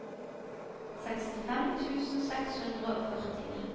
sekstifem tusen seks hundre og førtini